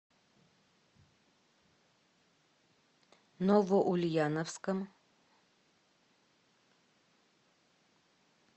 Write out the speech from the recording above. новоульяновском